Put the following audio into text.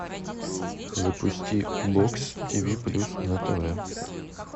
запусти бокс тиви плюс на тв